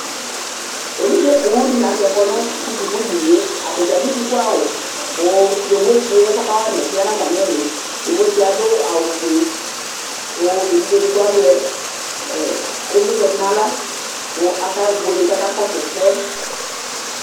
Evidze poo dɩnɩ lanʊtɛ kɔnʊ sʊkudɩnɩe atadza adʊ sukʊawʊ kʊ yovotsi yɛ kawama ɛsɛ yanʊ atamɩlɩ kʊ adʊ awʊfʊe kʊ evudzedigbo azɛ ɩvlɩtsɛ nʊ aɣla kʊ akebueka kʊ aka kɔsʊ ɛsɛ